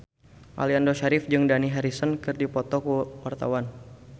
Aliando Syarif jeung Dani Harrison keur dipoto ku wartawan